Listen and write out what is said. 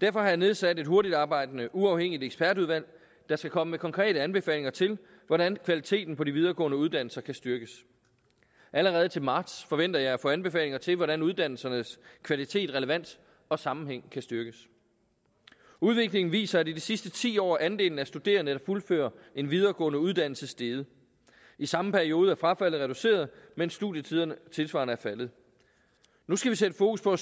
derfor har jeg nedsat et hurtigtarbejdende uafhængigt ekspertudvalg der skal komme med konkrete anbefalinger til hvordan kvaliteten på de videregående uddannelser kan styrkes allerede til marts forventer jeg at få anbefalinger til hvordan uddannelsernes kvalitet relevans og sammenhæng kan styrkes udviklingen viser at i de sidste ti år er andelen af studerende der fuldfører en videregående uddannelse steget i samme periode er frafaldet reduceret mens studietiden tilsvarende er faldet nu skal vi sætte fokus på at